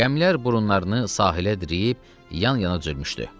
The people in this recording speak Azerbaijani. Gəmilər burunlarını sahilə diriyib yan-yana düzülmüşdü.